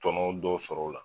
Tɔnɔw dɔw sɔrɔ ola